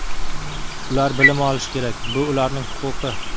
Ular bilim olishi kerak, bu ularning huquqi.